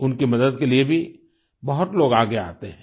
उनकी मदद के लिए भी बहुत लोग आगे आते हैं